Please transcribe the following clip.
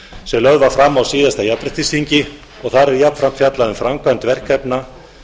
sem lögð var fram á síðasta jafnréttisþingi og þar er jafnframt fjallað um framkvæmd verkefna